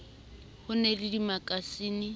ha o na le dimakasine